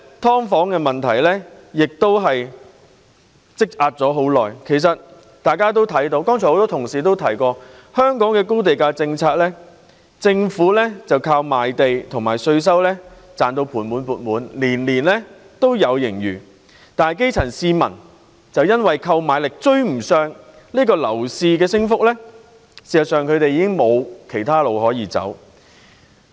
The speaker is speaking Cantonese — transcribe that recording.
大家都看到，很多同事剛才都提到，香港推行的是高地價政策，政府靠賣地及稅收而盤滿缽滿，每年都有盈餘，但基層市民卻因為購買力追不上樓市升幅，已經無路可走。